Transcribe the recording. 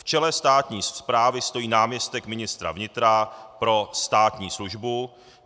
V čele státní správy stojí náměstek ministra vnitra pro státní službu.